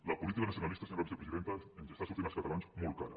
la política nacionalista senyora vicepresidenta ens està sortint als catalans molt cara